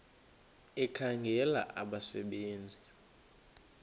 ekhangela abasebe nzi